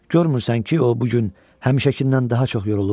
"Görmürsən ki, o bu gün həmişəkindən daha çox yorulub?